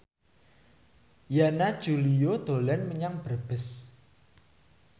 Yana Julio dolan menyang Brebes